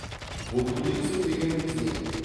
ботулизм дегеніміз не